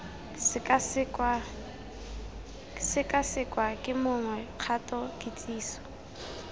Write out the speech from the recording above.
sekasekwa ke mongwe kgato kitsiso